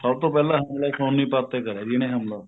ਸਭ ਤੋਂ ਪਹਿਲਾਂ ਹਮਲਾ ਸੋਨੀਪਤ ਤੇ ਕਰਿਆ ਸੀ ਇਹਨੇ ਹਮਲਾ